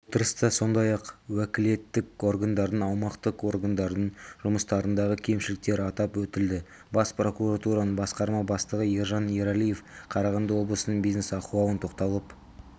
отырыста сондай-ақ уәкілеттік органдардың аумақтық органдардың жұмыстарындағы кемшіліктер атап өтілді бас прокуратураның басқарма бастығы ержан ералиев қарағанды облысының бизнес ахуалын тоқталып